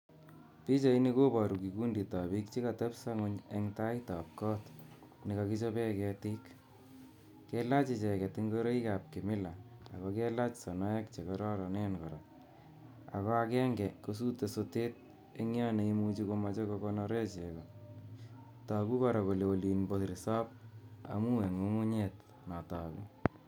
Pichaini koboru kikundit ab piik che katebso ng'uny eng taitab got ne kakechobe ketik, kelach icheket ingoroikab kimila ako kelach sonoek che kororonen kora, ako akenge kosute sotet eng yo ne imuchi komoche kokonore chego, toku kora kole olin bo resop amu eng ng'ung'unyet no toku.